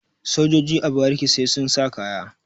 sojoji a bariki sai sun sa kaya